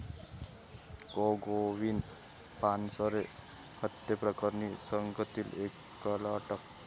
कॉ. गोविंद पानसरे हत्येप्रकरणी सांगलीत एकाला अटक